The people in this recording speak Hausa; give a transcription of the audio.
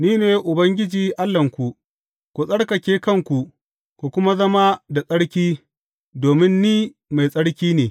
Ni ne Ubangiji Allahnku; ku tsarkake kanku ku kuma zama da tsarki, domin Ni mai tsarki ne.